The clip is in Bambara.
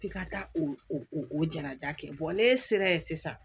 F'i ka taa o o jalaja kɛ n'e sera ye sisan